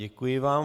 Děkuji vám.